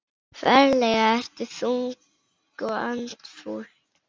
Ferlega ertu þung og andfúl.